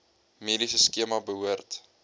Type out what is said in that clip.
mediese skema behoort